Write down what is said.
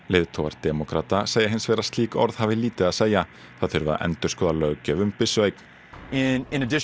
leiðtogar demókrata segja hins vegar að slík orð hafi lítið að segja það þurfi að endurskoða löggjöf um byssueign einungis